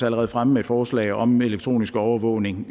allerede fremme med et forslag om elektronisk overvågning